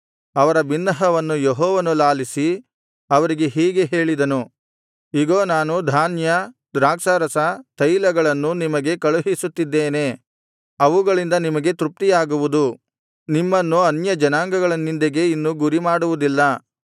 ಅವರ ಬಿನ್ನಹವನ್ನು ಯೆಹೋವನು ಲಾಲಿಸಿ ಅವರಿಗೆ ಹೀಗೆ ಹೇಳಿದನು ಇಗೋ ನಾನು ಧಾನ್ಯ ದ್ರಾಕ್ಷಾರಸ ತೈಲಗಳನ್ನು ನಿಮಗೆ ಕಳುಹಿಸುತ್ತಿದ್ದೇನೆ ಅವುಗಳಿಂದ ನಿಮಗೆ ತೃಪ್ತಿಯಾಗುವುದು ನಿಮ್ಮನ್ನು ಅನ್ಯಜನಾಂಗಗಳ ನಿಂದೆಗೆ ಇನ್ನು ಗುರಿಮಾಡುವುದಿಲ್ಲ